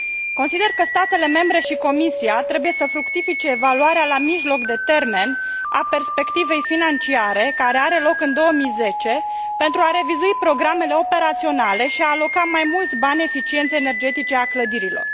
Consider că statele membre și Comisia trebuie să fructifice evaluarea la jumătatea perioadei a perspectivei financiare, care are loc în 2010, pentru a revizui programele operaționale și a aloca mai multe fonduri eficienței energetice a clădirilor.